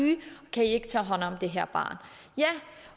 kan i ikke tage hånd om det her barn